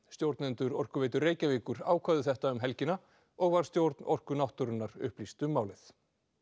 stjórnendur Orkuveitu Reykjavíkur ákváðu þetta um helgina og var stjórn Orku náttúrunnar upplýst um málið